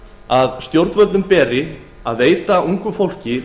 að stjórnvöldum beri að veita ungu fólki